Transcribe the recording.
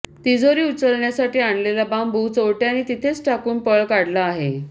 तिजोरी उचलण्यासाठी आणलेला बांबू चोरट्यांनी तिथेच टाकून पळ काढला आहे